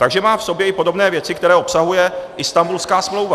Takže má v sobě i podobné věci, které obsahuje Istanbulská smlouva.